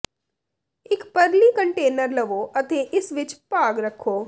ਇੱਕ ਪਰਲੀ ਕੰਟੇਨਰ ਲਵੋ ਅਤੇ ਇਸ ਵਿੱਚ ਭਾਗ ਰੱਖੋ